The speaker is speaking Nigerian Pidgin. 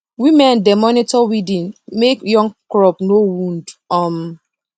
women dey monitor weeding make young crop no wound um